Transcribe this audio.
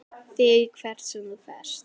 ÞIG HVERT SEM ÞÚ FERÐ.